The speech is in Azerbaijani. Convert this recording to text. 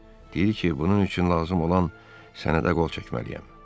Deyir ki, bunun üçün lazım olan sənədə qol çəkməliyəm.